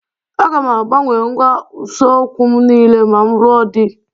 Aga m agbanwe ngwa ụsokwu m niile ma m lụọ di